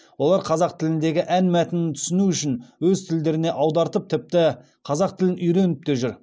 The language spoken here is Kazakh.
олар қазақ тіліндегі ән мәтінін түсіну үшін өз тілдеріне аудартып тіпті қазақ тілін үйреніп те жүр